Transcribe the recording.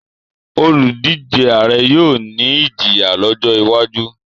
oludije Ààrẹ yóò ní Ìjiyàn lójó wájú.